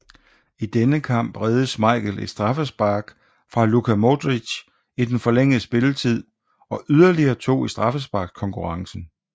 I denne kamp reddede Schmeichel et straffespark fra Luka Modrić i den forlængede spilletid og yderligere to i straffesparkskonkurrencen